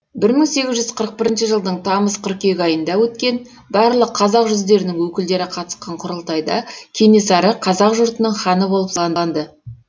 бір мың сегіз жүз қырық бірінші жылдың тамыз қыркүйек айында өткен барлық қазақ жүздерінің өкілдері қатысқан құрылтайда кенесары қазақ жұртының ханы болып сайланды